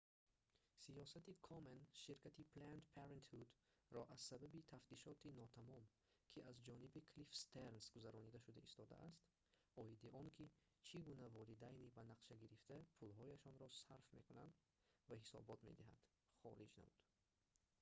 сиёсати комен ширкати «planned parenthood»-ро аз сабаби тафтишоти нотамом ки аз ҷониби клифф стернс гузаронида шуда истодааст оиди он ки чӣ гуна волидайни банақшагирифта пулҳояшро сарф мекунад ва ҳисобот медиҳад хориҷ намуд